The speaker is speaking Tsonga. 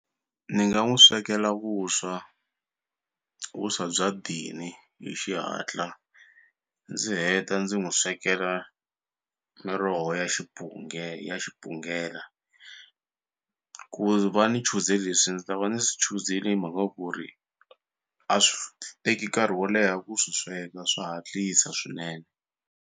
Ni nga n'wu swekela vuswa vuswa bya dini hi xihatla ndzi heta ndzi n'wu swekela miroho ya xipunge ya xipungela ku va ni chuze leswi ndzi ta va ndzi swi chuzele hi mhaka ku ri a swi teki nkarhi wo leha ku swi sweka swa hatlisa swinene.